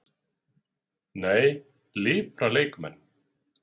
Nei, Lipra leikmenn?